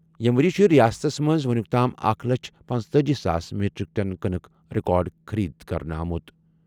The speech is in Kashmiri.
ییٚمہِ ؤرۍ یہِ چھُ رِیاستَس منٛز وُنیُک تام اکھ لچھ پنژتأجی ساس میٖٹرِک ٹن کٕنٕک ریکارڈ خٔریٖدٲری کرنہٕ آمٕژ۔